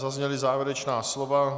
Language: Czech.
Zazněla závěrečná slova.